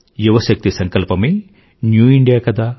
యువశక్తి సంకల్పమే new India కదా